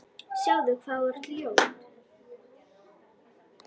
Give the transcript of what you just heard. Sjáðu hvað þú ert ljót.